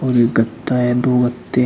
और एक गत्ता है दो गत्ते हैं।